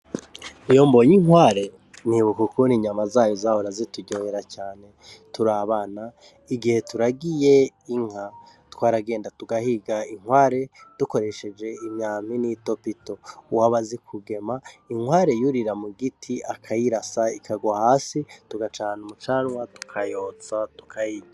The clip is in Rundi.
Iyo mbonye inkware nibuka ukuntu inyama zayo zahora zituryohera cane turi abana, igihe turagiye inka. Twaragenda tugahiga inkware dukoresheje imyampi n'itopito. Uwaba azi kugema, inkware yurira muguti akayirasa ikagwa hasi, tugacana umucanwa tukayotsa tukayirya.